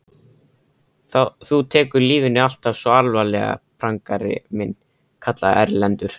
Þú tekur lífinu alltaf svo alvarlega, prangari minn, kallaði Erlendur.